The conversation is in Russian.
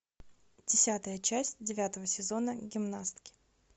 десятая часть девятого сезона гимнастки